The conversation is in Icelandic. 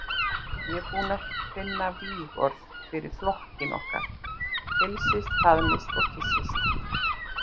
Ég er búinn að finna vígorð fyrir flokkinn okkar: Heilsist, faðmist, kyssist.